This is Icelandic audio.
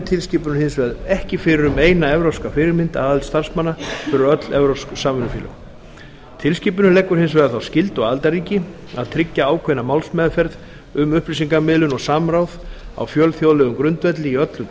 tilskipunin hins vegar ekki fyrir um eina evrópska fyrirmynd að aðild starfsmanna fyrir öll evrópsk samvinnufélög tilskipunin leggur hins vegar þá skyldu á aðildarríki að tryggja ákveðna málsmeðferð um upplýsingamiðlun og samráð á fjölþjóðlegum grundvelli í öllum